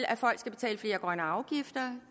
at folk skal betale flere grønne afgifter